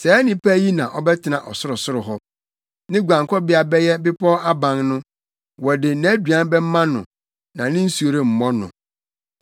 saa onipa yi na ɔbɛtena ɔsorosoro hɔ, ne guankɔbea bɛyɛ bepɔw aban no. Wɔde nʼaduan bɛma no na ne nsu remmɔ no.